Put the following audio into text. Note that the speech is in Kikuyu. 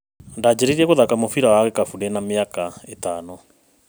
Ndanjirie gũthaka mũbira wa gĩkabũ ndĩ na mĩaka ĩtano.